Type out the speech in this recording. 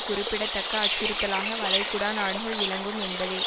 குறிப்பிடத்தக்க அச்சுறுத்தலாக வளைகுடா நாடுகள் விளங்கும் என்பதே